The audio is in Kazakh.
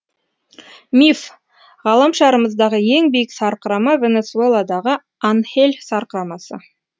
миф ғаламшарымыздағы ең биік сарқырама венесуэладағы анхель сарқырамасы